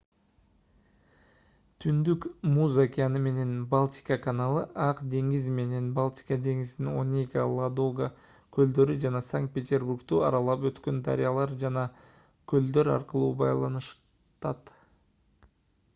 түндүк муз океаны менен балтика каналы ак деңиз менен балтика деңизин онега ладога көлдөрү жана санкт-петербургду аралап өткөн дарыялар жана көлдөр аркылуу байланыштырат